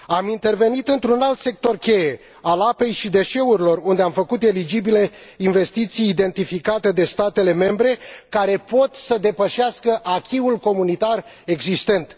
Am intervenit într un alt sector cheie, al apei și deșeurilor, unde am făcut eligibile investiții identificate de statele membre care pot să depășească acquis ul comunitar existent.